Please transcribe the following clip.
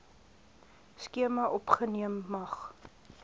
skema opgeneem mag